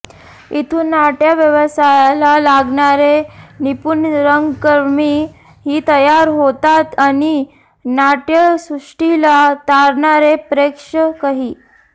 इथून नाट्य व्यवसायाला लागणारे निपूण रंगकर्मी ही तयार होतात आणि नाट्यसृष्टीला तारणारे प्रेक्षकही